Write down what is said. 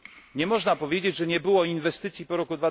Nie można powiedzieć, że nie było inwestycji po roku